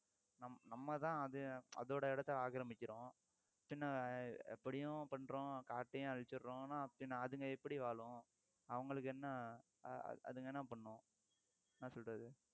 நம்மதான் அதோட இடத்தை ஆக்கிரமிக்கிறோம் பின்ன எப்படியும் பண்றோம் காட்டையும் அழிச்சிடுறோம் ஆனா அதுங்க எப்படி வாழும் அவங்களுக்கு என்ன அதுங்க என்ன பண்ணும் என்ன சொல்றது